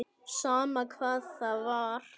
Sama hvað það var.